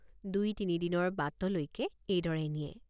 দুই তিনি দিনৰ বাটলৈকে এইদৰে নিয়ে।